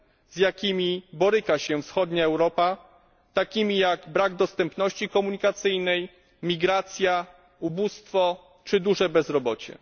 z jakimi boryka się wschodnia Europa, takimi jak brak dostępności komunikacyjnej, migracja, ubóstwo czy duże bezrobocie.